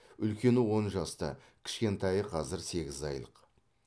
үлкені он жаста кішкентайы қазір сегіз айлық